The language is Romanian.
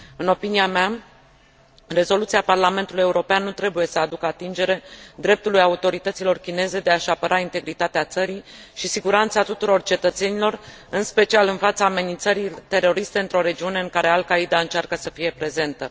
În opinia mea, rezoluția Parlamentului European nu trebuie să aducă atingere dreptului autorităților chineze de a și apăra integritatea țării și siguranța tuturor cetățenilor, în special în fața amenințării teroriste într o regiune în care Al Qaida încearcă să fie prezentă.